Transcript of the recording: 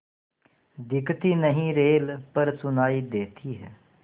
दिखती नहीं रेल पर सुनाई देती है